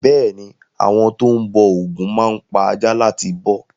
Bẹ́ẹ̀ ni, àwọn tó ń bọ ògún máa ń pa aja láti bọ́.